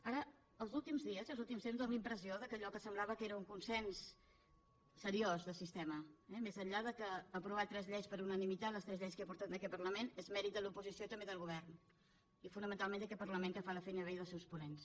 ara els últims dies els últims temps fa la impressió que allò que semblava que era un consens seriós de sistema més enllà d’aprovar tres lleis per unanimitat les tres lleis que he portat en aquest parlament és mèrit de l’oposició i també del govern i fonamentalment d’aquest parlament que fa la feina bé i dels seus ponents